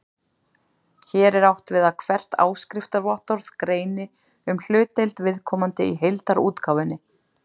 Hér er átt við að hvert áskriftarvottorð greini um hlutdeild viðkomandi í heildarútgáfunni.